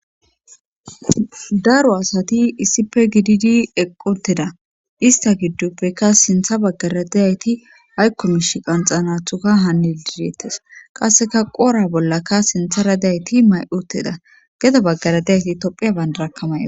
daro asati issife gididi eqqi utieda ista gidduppekka sintha baggaradayayti haykkomish qanxanathuka hanne dideetes qasseka qoora bollaka sintha radeyayti may7uteda geda baggaradeyayti tophiya bandarakkamaya